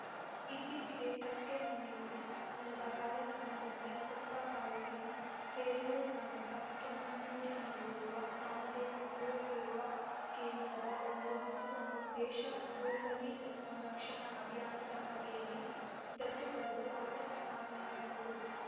ಇತ್ತೀಚೆಗೆ ಕಸ್ಕೆಮನೆಯಲ್ಲಿ ನಡೆದ ಕಾರ್ಯಕ್ರಮದಲ್ಲಿ ಕೊಪ್ಪ ತಾಲೂಕಿನ ಹೇರೂರು ಗ್ರಾಮದ ಕೆಮ್ಮಣ್ಣುನಲ್ಲಿರುವ ಕಾಮಧೇನು ಗೋ ಸೇವಾ ಕೇಂದ್ರದ ಒಂದು ಹಸುವನ್ನು ದೇಶಿ ಗೋ ತಳಿ ಸಂರಕ್ಷಣಾ ಅಭಿಯಾನದ ಅಡಿಯಲ್ಲಿ ದತ್ತು ಪಡೆದು ಅವರು ಮಾತನಾಡಿದರು